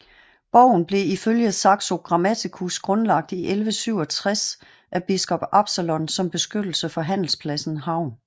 Borgen blev ifølge Saxo Grammaticus grundlagt i 1167 af Biskop Absalon som beskyttelse for handelspladsen Havn